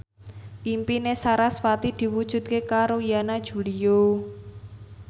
impine sarasvati diwujudke karo Yana Julio